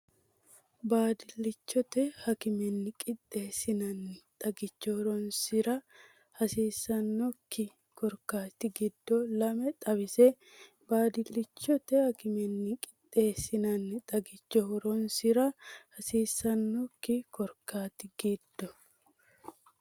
Baabillichote akimenni qixxeessinanni xagicho horoonsi’ra hasiis- sannokki korkaatta giddo lame xawisse Baabillichote akimenni qixxeessinanni xagicho horoonsi’ra hasiis- sannokki korkaatta giddo.